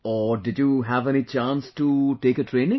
Or did you have any chance to take a training